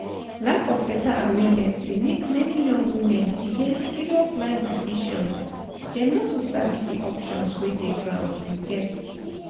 lack of better awareness dey make many young women delay serious life decisions dem no too sabi di options wey dey ground you get?